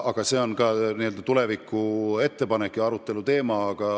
Aga see on tuleviku ettepanek ja tuleviku aruteluteema.